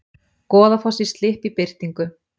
Goðafoss í slipp í birtingu